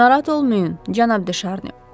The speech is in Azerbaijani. Narahat olmayın, cənab Deşarni.